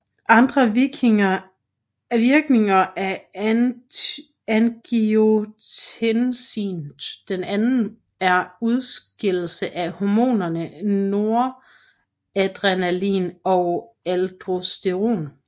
Andre virkninger af angiotensin II er udskillelse af hormonerne noradrenalin og aldosteron